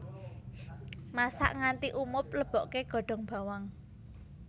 Masak nganti umub leboke godhong bawang